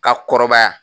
Ka kɔrɔbaya